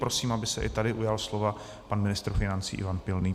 Prosím, aby se i tady ujal slova pan ministr financí Ivan Pilný.